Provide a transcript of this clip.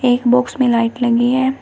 एक बॉक्स में लाइट लगी है।